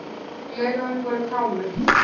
Gleraugun voru kámug.